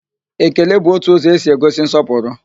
Ekele bụ otu ụzọ e si egosi nsọpụrụ